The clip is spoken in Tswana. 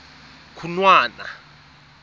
khunwana